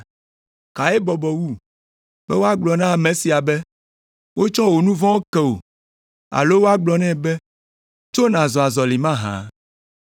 Kae bɔbɔ wu, be woagblɔ na ame sia be, ‘Wotsɔ wò nu vɔ̃wo ke wò’ alo woagblɔ nɛ be, ‘Tso, nàzɔ azɔli mahã’?